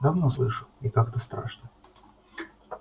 давно слышу и как-то страшно